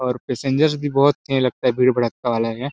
और पैसेंजर भी बहुत हैं लगता हैं भीड़ भड़ाका वाला है।